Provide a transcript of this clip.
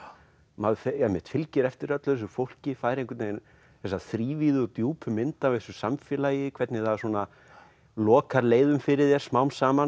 maður einmitt fylgir eftir öllu þessu fólki fær þessa þrívíðu djúpu mynd af þessu samfélagi hvernig það svona lokar leiðum fyrir þér smám saman